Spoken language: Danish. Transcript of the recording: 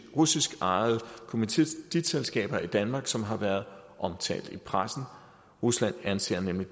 russiskejede kommanditselskaber i danmark som har været omtalt i pressen rusland anser nemlig